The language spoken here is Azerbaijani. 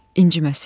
İnciməsin.